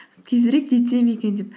тезірек жетсем екен деп